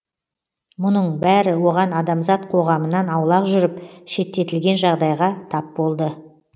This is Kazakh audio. мұның бәрі оған адамзат қоғамынан аулақ жүріп шеттетілген жағдайға тап болды